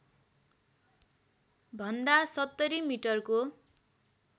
भन्दा ७० मिटरको